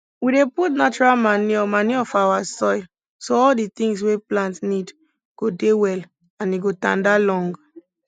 we dey put natural manure manure for our soil so all di things wey plant need go dey well and e go tanda long